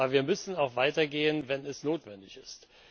Aber wir müssen auch weiter gehen, wenn es notwendig ist.